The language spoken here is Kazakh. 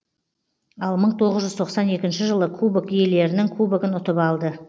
ал мың тоғыз жүз тоқсан екінші жылы кубок иелерінің кубогын ұтып алды